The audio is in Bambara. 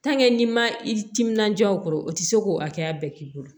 n'i ma i timinandiya o kɔrɔ o ti se k'o hakɛya bɛɛ k'i bolo